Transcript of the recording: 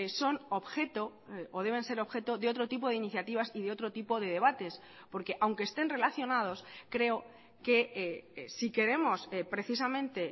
son objeto o deben ser objeto de otro tipo de iniciativas y de otro tipo de debates porque aunque estén relacionados creo que si queremos precisamente